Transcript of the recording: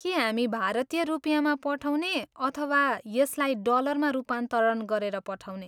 के हामी भारतीय रुपिँयामा पठाउने अथवा यसलाई डलरमा रूपान्तरण गरेर पठाउने?